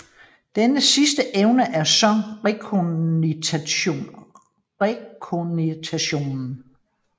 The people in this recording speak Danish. Denne sidste evne er så rekognitionen